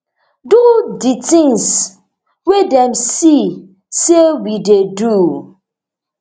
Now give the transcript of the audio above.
do di tins wey dem see say we dey do